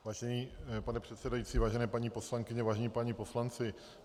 Vážený pane předsedající, vážené paní poslankyně, vážení páni poslanci.